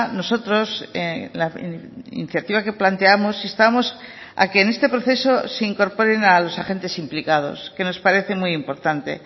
nosotros iniciativa que planteamos instamos a que en este proceso se incorporen a los agentes implicados que nos parece muy importante